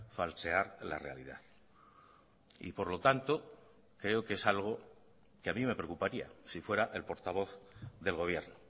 falsear la realidad y por lo tanto creo que es algo que a mí me preocuparía si fuera el portavoz del gobierno